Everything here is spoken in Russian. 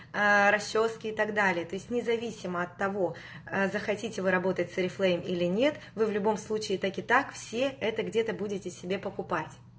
расчёски и так далее независимо от того захотите вы работать с орифлейм или нет вы в любом случае так и так все это где-то будете себе покупать